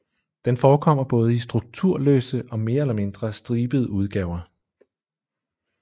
Den forekommer både i strukturløse og mere eller mindre stribede udgaver